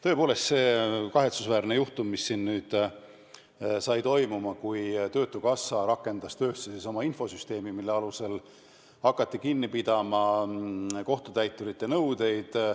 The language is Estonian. Tõepoolest oli üks kahetsusväärne juhtum, mis leidis aset siis, kui töötukassa rakendas töösse oma infosüsteemi, mille alusel hakati kinni pidama kohtutäiturite nõudeid.